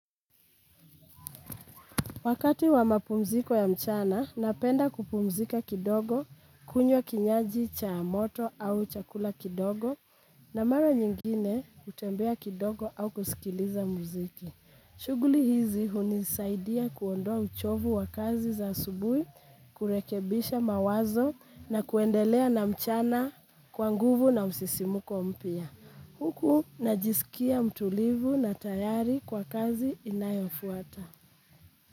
Wakati wa mapumziko ya mchana, napenda kupumzika kidogo, kunywa kinywaji cha moto au chakula kidogo, na mara nyingine hutembea kidogo au kusikiliza muziki. Shughuli hizi hunisaidia kuondoa uchovu wa kazi za asubuhi, kurekebisha mawazo na kuendelea na mchana kwa nguvu na msisimuko mpya. Huku najisikia mtulivu na tayari kwa kazi inayofuata.